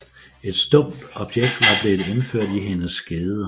Et stumpt objekt var blevet indført i hendes skede